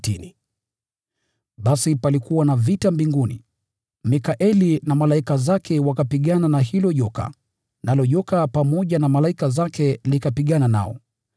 Basi palikuwa na vita mbinguni: Mikaeli na malaika zake wakapigana na hilo joka, nalo joka pamoja na malaika zake likapigana nao.